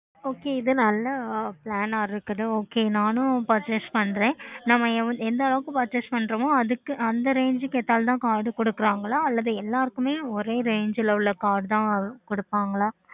okay